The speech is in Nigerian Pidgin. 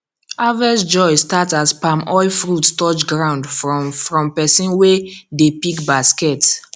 harvest joy start as palm oil fruit touch ground from from person wey dey pick basket